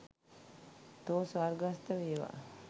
තෝ ස්වර්ගස්ථ වේවා.